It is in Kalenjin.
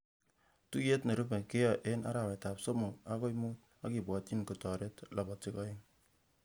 Tuiyet nerube keai eng arawetab somok akoi mut akibwotchin kotaret lapatik eng